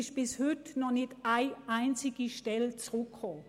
Bis heute wurde nicht eine einzige Stelle neu geschaffen.